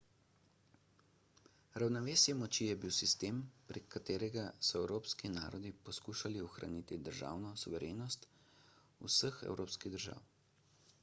ravnovesje moči je bil sistem prek katerega so evropski narodi poskušali ohraniti državno suverenost vseh evropskih držav